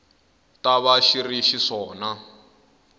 ta va xi ri xiswona